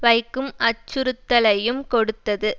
வைக்கும் அச்சுறுத்தலையும் கொடுத்தது